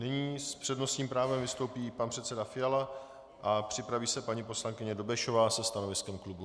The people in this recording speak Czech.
Nyní s přednostním právem vystoupí pan předseda Fiala a připraví se paní poslankyně Dobešová se stanoviskem klubu.